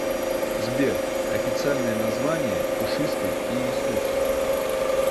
сбер официальное название пушистый иисус